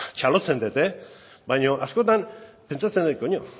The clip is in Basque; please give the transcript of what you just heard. txalotzen dut baina askotan pentsatzen dut